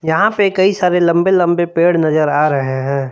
यहां पे कई सारे लंबे लंबे पेड़ नजर आ रहे हैं।